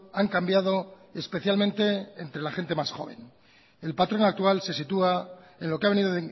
han cambiado especialmente entre la gente más joven el patrón actual se sitúa en lo que ha venido